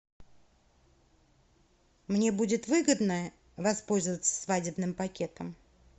мне будет выгодно воспользоваться свадебным пакетом